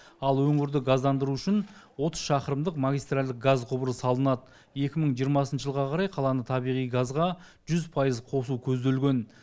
ал өңірді газдандыру үшін отыз шақырымдық магистральдық газ құбыры салынады екі мың жиырмасыншы жылға қарай қаланы табиғи газға жүз пайыз қосу көзделген